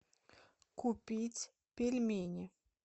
купить пельмени